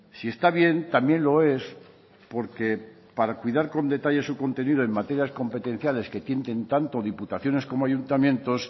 si está bien también lo es porque para cuidar con detalle su contenido en materias competenciales que tienen tanto diputaciones como ayuntamientos